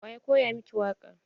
Wa ya koya miki waƙa?